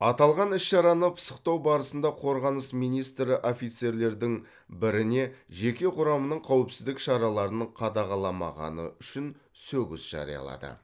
аталған іс шараны пысықтау барысында қорғаныс министрі офицерлердің біріне жеке құрамның қауіпсіздік шараларын қадағаламағаны үшін сөгіс жариялады